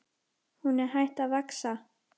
Hún er hætt að vaxa!